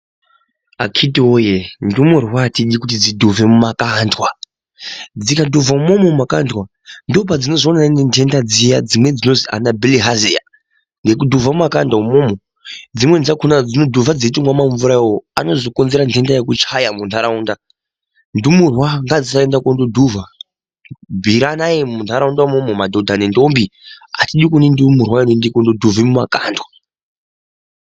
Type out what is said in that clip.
Akhiti woye ndumurwa atidi kuti dzidhuvhe mumakandwa . Dzikadhuvhva imwomwo mumakandwa ndopadzinozoonana nentenda dziya dzinozi anabhilihaziya nekudhuvha mumakanda umwomwo dzimweni dzakona dzinodhuvha dzeitomwa mamvura awawo anozokonzera ntenda yekuchaya muntaraunda . Ndumurwa ngadzisaenda kundodhuvha bhuiranayi muntaraunda mwona umwomwo madhodha nendombi atidi kuona ndumurwa inoenda kundodhuvha mumakandwa.